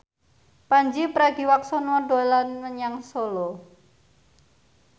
Pandji Pragiwaksono dolan menyang Solo